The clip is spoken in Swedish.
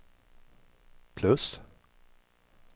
plus